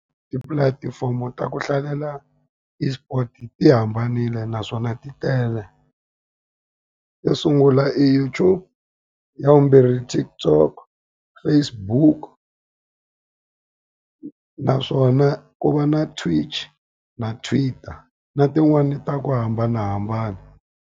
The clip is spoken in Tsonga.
Tipulatifomo ta ku hlalela eSport ti hambanile naswona ti tele. Yo sungula i YouTube, ya vumbirhi i TikTok, Facebook naswona ku va na Twitch na Twitter. Na tin'wani ta ku hambanahambana.